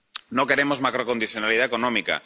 No queremos macrocondicionalidad económica.